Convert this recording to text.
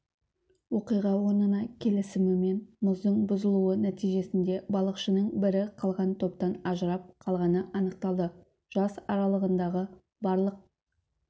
оқиға орынына келісімен мұздың бұзылуы нәтижесінде балықшының бірі қалған топтан ажырап қалғаны анықталды жас аралығындағы барлық